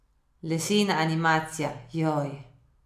Lesena animacija, joj.